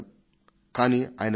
కానీ ఆయన ఆగ్రహం నా మీద కాదు